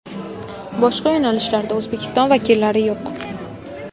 Boshqa yo‘nalishlarda O‘zbekiston vakillari yo‘q.